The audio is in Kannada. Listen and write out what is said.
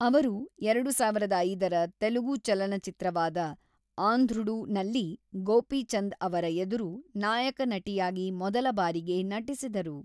ಅವರು ಎರಡು ಸಾವಿರದ ಐದರ ತೆಲುಗು ಚಲನಚಿತ್ರವಾದ ಆಂಧ್ರುಡು ನಲ್ಲಿ ಗೋಪಿಚಂದ್ ಅವರ ಎದುರು ನಾಯಕ ನಟಿಯಾಗಿ ಮೊದಲ ಬಾರಿಗೆ ನಟಿಸಿದರು.